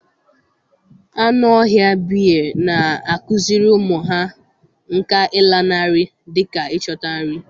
Anụ ọhịa bea na-akụziri ụmụ ha nkà ịlanarị dị ka ịchọta nri.